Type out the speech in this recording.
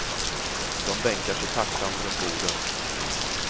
De bänkar sig tacksamt runt borden.